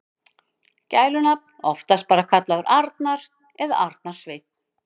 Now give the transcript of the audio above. Gælunafn: Oftast bara kallaður Arnar eða Arnar Sveinn.